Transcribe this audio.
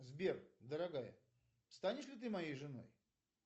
сбер дорогая станешь ли ты моей женой